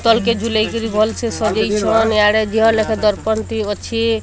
ତଳକେ ଝୁଲେଇ କରି ଭଲ୍ ସେ ସଜେଇ ଛନ୍ ଇଆଡ଼େ ଦି ହଲ୍ ଲାଖେ ଦର୍ପଣ ତି ଅଛି।